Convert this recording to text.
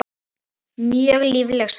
Mjög lífleg saga.